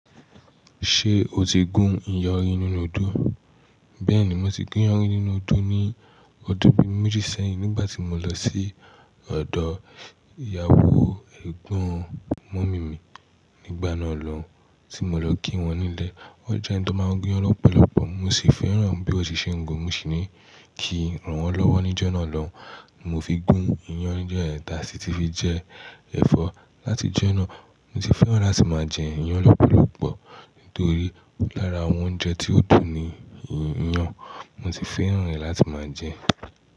Ṣé o ti gún iyán rín nínú odó? Bẹ́ẹ̀ni mo ti gún iyán rín nínú odó ní ọdún bí méjì sẹ́yìn nígbà tí mo lọ sí ọ̀dọ̀ ìyàwó ẹgbọn mọ̀mí mi nígbà náà lọ́, tí mo lọ kí wọn nílé. Wọ́n jẹ ẹni tó máa ń gún iyán lọ́pọ̀lọpọ̀ mo sì fẹ́ràn bí ó ṣe ń gún. Mo sì ní kí rán wọn lọ́wọ́ níjọ́ náà lọ, mo fi gún iyán níjọ́ yẹn tà sì ti fi jẹ ẹ̀fọ́. Lati jọ́ náà, mo ti fẹ́ràn láti máa jẹ iyán lọ́pọ̀lọpọ̀ nítorí lára àwọn oúnjẹ tí ó dùn ni iyán. Mo sì fẹ́ràn rẹ̀ láti máa jẹ.